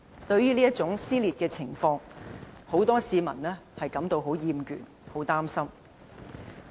對於這種撕裂的情況，不少市民已感到厭倦和擔心。